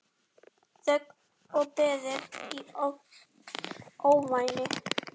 Þögn og beðið í ofvæni.